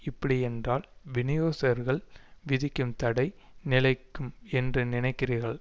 இப்படியென்றால் விநியோகிஸ்தர்கள் விதிக்கும் தடை நிலைக்கும் என்று நினைக்கிறீர்கள்